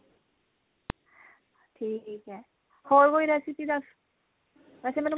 ਠੀਕ ਹੈ ਹੋਰ ਕੋਈ recipe ਦਸ ਵੈਸੇ ਮੈਨੂੰ